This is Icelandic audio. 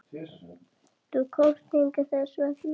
Þú komst hingað þess vegna.